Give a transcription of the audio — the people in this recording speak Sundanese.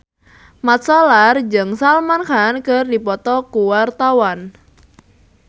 Mat Solar jeung Salman Khan keur dipoto ku wartawan